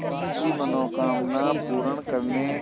की मनोकामना पूर्ण करने